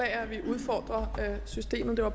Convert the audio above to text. at vi udfordrer systemerne når